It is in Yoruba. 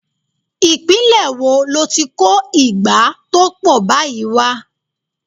Ìpínlè wo lo ti kó ìgbá tó pọ̀ báyìí wà?